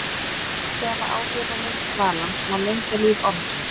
Með því að hafa áhrif á lengd dvalans má lengja líf ormsins.